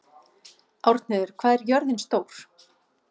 Árnheiður, hvað er jörðin stór?